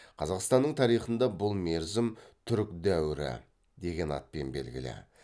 қазақстанның тарихында бұл мерзім түрік дәуірі деген атпен белгілі